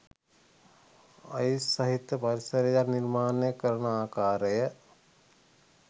ice සහිත පරිසරයක් නිර්මාණය කරන ආකාරය